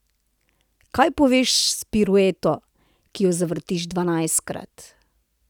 Kaj poveš z pirueto, ki jo zavrtiš dvanajstkrat?